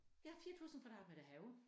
Jeg har 4000 kvadratmeter have